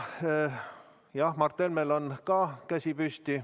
Mart Helmel on ka käsi püsti.